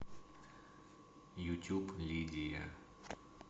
ютюб лидия